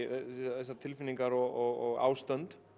þessar tilfinningar og ástönd